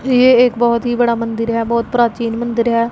ये एक बहुत ही बड़ा मंदिर है बहुत प्राचीन मंदिर है।